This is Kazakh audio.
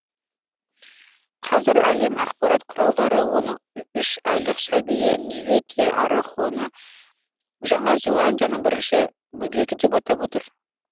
қазір әлем ақпарат құралдары оның үш айлық сәбиі неве те арахоны жаңа зеландияның бірінші бөбегі деп атап отыр